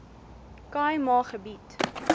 khâi ma gebied